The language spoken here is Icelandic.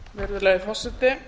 virðulegi forseti